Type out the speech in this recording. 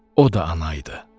O da ana idi.